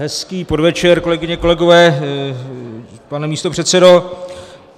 Hezký podvečer kolegyně, kolegové, pane místopředsedo.